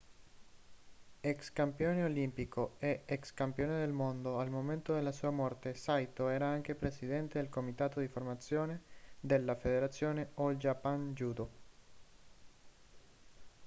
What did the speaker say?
ex campione olimpico e ex campione del mondo al momento della sua morte saito era anche presidente del comitato di formazione della federazione all japan judo